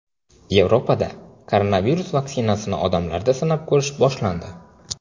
Yevropada koronavirus vaksinasini odamlarda sinab ko‘rish boshlandi.